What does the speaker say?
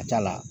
A ka ca la